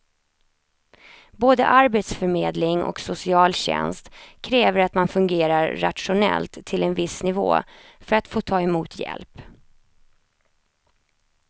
Både arbetsförmedling och socialtjänst kräver att man fungerar rationellt till en viss nivå för att få ta emot hjälp.